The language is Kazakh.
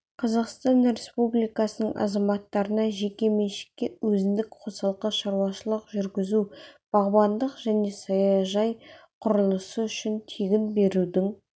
қазақстан республикасының азаматтарына жеке меншікке өзіндік қосалқы шаруашылық жүргізу бағбандық және саяжай құрылысы үшін тегін берудің